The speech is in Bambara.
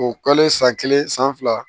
O kɛlen san kelen san fila